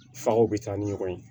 Fakow bɛ taa ni ɲɔgɔn ye